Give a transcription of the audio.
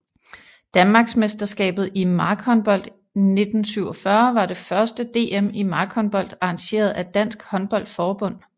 Danmarksmesterskabet i markhåndbold 1947 var det første DM i markhåndbold arrangeret af Dansk Håndbold Forbund